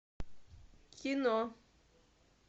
кино